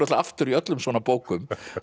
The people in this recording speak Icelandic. aftur í öllum svona bókum